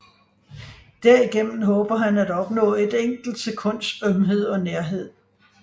Derigennem håber han at opnå et enkelt sekunds ømhed og nærhed